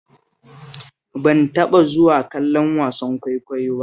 Ban taɓa zuwa kallon wasan kwaikwayo ba